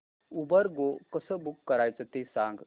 Uber go कसं book करायचं ते सांग